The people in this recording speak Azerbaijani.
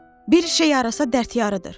Bir şey yarasa, dərd yarıdır.